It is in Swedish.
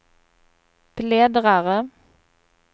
bläddrare